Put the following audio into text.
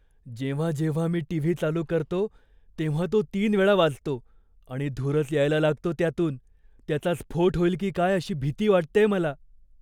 जेव्हा जेव्हा मी टीव्ही चालू करतो, तेव्हा तो तीन वेळा वाजतो आणि धूरच यायला लागतो त्यातून. त्याचा स्फोट होईल की काय अशी भीती वाटतेय मला.